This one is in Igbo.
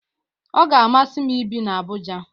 Ọ ga-amasị m ibi na Abuja